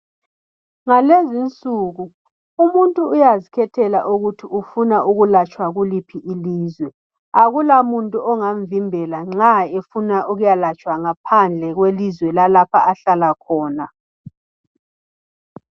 Ngalezi nsuku umuntu uyazikhethela ukuthi ufuna ukulatshwa kuliphi ilizwe akulamuntu ongamvimbela nxa efuna ukuyalatshwa ngaphandle kwelizwe lalapha ahlala khona.